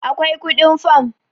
akwai kudin fam